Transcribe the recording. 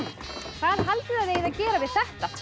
hvað haldið þið eigið að gera við þetta allt